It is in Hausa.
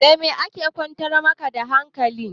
Da me aka kwantar ma ka da hankali?